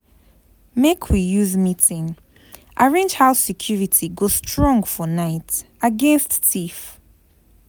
Make we use meeting arrange how security go strong for night against thief.